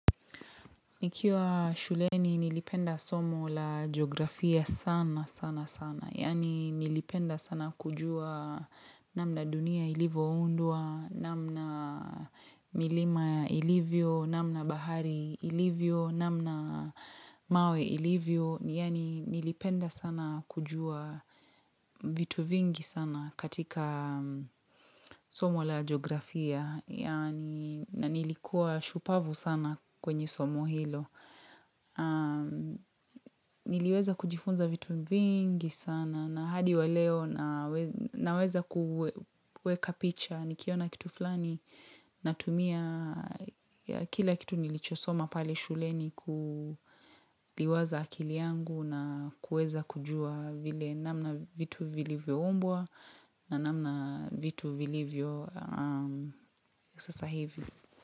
Nikiwa shuleni nilipenda somo la geografia sana sana sana. Yani nilipenda sana kujua namna dunia ilivo undwa, namna milima ilivyo, namna bahari ilivyo, namna mawe ilivyo. Yani nilipenda sana kujua vitu vingi sana katika somo la geografia. Yani na nilikuwa shupavu sana kwenye somo hilo. Niliweza kujifunza vitu vingi sana na hadi wa leo nawe naweza kuweka picha nikiona kitu flani natumia kila kitu nilichosoma pale shuleni kuliwaza akili yangu na kueza kujua vile namna vitu vilivyoumbwa na namna vitu vilivyo sasa hivi.